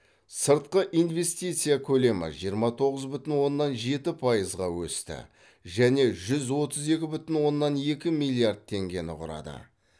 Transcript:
сыртқы инвестиция көлемі жиырма тоғыз бүтін оннан жеті пайызға өсті және жүз отыз екі бүтін оннан екі миллиард теңгені құрады